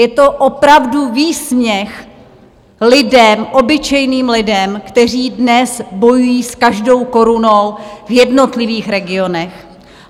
Je to opravdu výsměch lidem, obyčejným lidem, kteří dnes bojují s každou korunou v jednotlivých regionech.